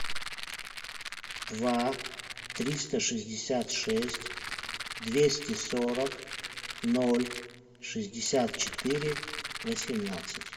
два триста шестьдесят шесть двести сорок ноль шестьдесят четыре восемнадцать